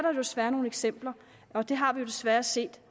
jo desværre nogle eksempler på det har vi desværre set